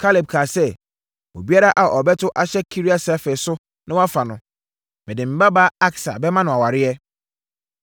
Kaleb kaa sɛ, “Obiara a ɔbɛto ahyɛ Kiriat-Sefer so na wafa no, mede me babaa Aksa bɛma no aware.”